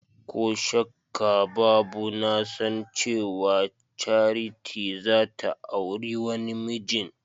Koh shakkabbabu nasan cewa Charity zata auri wani mijin.